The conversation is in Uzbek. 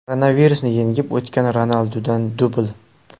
Koronavirusni yengib o‘tgan Ronaldudan dubl.